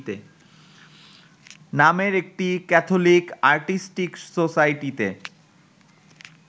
নামের একটি Catholic artistic সোসাইটিতে